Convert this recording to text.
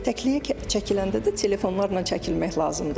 Təkliyə çəkiləndə də telefonlarla çəkilmək lazım deyil.